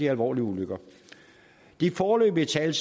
alvorlige ulykker de foreløbige tal